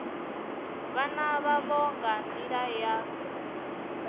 vhana vhavho nga nḓila ya